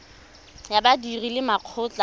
ya badiri le makgotla a